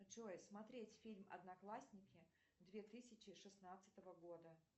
джой смотреть фильм одноклассники две тысячи шестнадцатого года